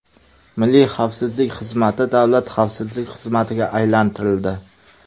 Milliy xavfsizlik xizmati Davlat xavfsizlik xizmatiga aylantirildi.